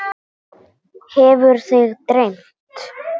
Hefur þig dreymt?